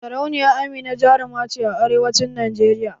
Sarauniya Amina jaruma ce a arewancin Najeriya.